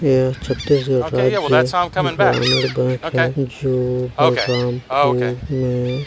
ए ह छत्तीसगढ़ राज्य ग्रामीण बैंक है जो बलरामपुर मे--